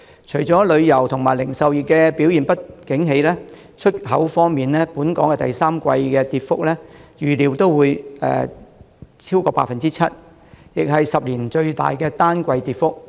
除了旅遊業和零售業不景氣，出口方面，本港第三季的跌幅預料超過 7%， 是10年來最大的單季跌幅。